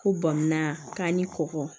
Ko bɔnmana k'an kɔkɔ